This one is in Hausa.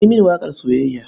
Ka yi mini waƙar soyayya.